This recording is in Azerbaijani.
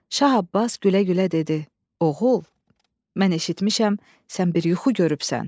Şah Abbas gülə-gülə dedi: Oğul, mən eşitmişəm sən bir yuxu görübsən.